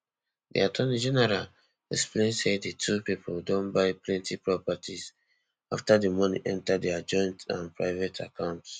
di attorney general explain say di two pipo don buy plenty properties afta di money enta dia joint and private accounts